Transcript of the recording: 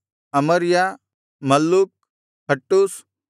ಅಮರ್ಯ ಮಲ್ಲೂಕ್ ಹಟ್ಟೂಷ್